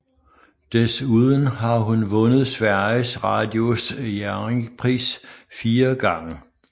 Desuden har hun vundet Sveriges Radios Jerringpris fire gange